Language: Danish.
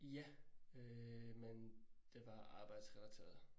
Ja, øh men det var arbejdsrelateret